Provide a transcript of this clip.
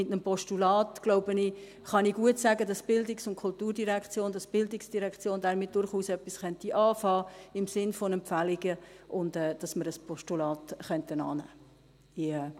Bei einem Postulat kann ich, glaube ich, gut sagen, dass die Kultur-direktion, dass die Bildungsdirektion damit durchaus etwas anfangen kann, im Sinn von Empfehlungen, und dass wir ein Postulat annehmen könnten.